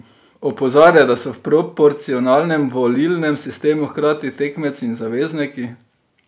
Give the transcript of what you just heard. Opozarja, da so v proporcionalnem volilnem sistemu hkrati tekmeci in zavezniki.